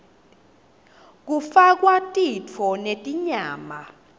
kufakwa titfo netinyama